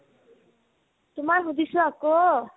তোমাৰ সুধিছো আকৌ